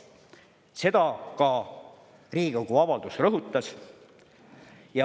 Seda ka Riigikogu avaldus rõhutas.